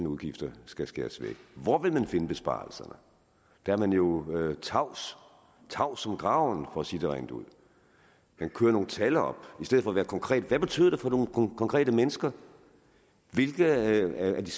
udgifter skal skæres væk hvor vil man finde besparelserne der er man jo tavs tavs som graven for at sige det rent ud man kører nogle tal op i stedet for at være konkret hvad betyder det for nogle konkrete mennesker hvilke af de